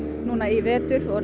núna í vetur